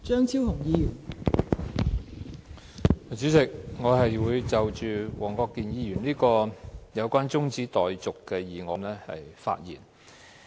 代理主席，我會就黃國健議員動議的中止待續議案發言。